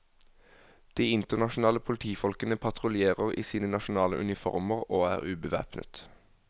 De internasjonale politifolkene patruljerer i sine nasjonale uniformer og er ubevæpnet.